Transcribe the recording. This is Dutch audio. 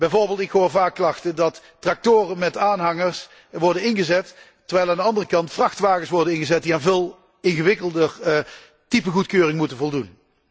Ik hoor bijvoorbeeld vaak klachten dat tractoren met aanhangers worden ingezet, terwijl aan de andere kant vrachtwagens worden ingezet die aan veel ingewikkelder typegoedkeuring moeten voldoen.